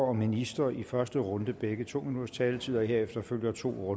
og minister i første runde begge to minutters taletid og herefter følger to